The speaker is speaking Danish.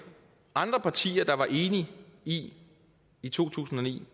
andre partier der var enige i i to tusind og ni